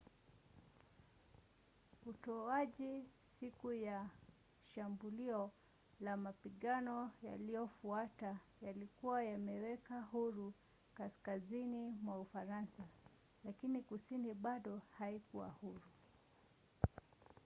utuaji siku ya shambulio na mapigano yaliyofuata yalikuwa yameweka huru kaskazini mwa ufaransa lakini kusini bado haikuwa huru